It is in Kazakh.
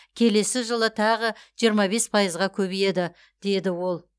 келесі жылы тағы жиырма бес пайызға көбейеді деді ол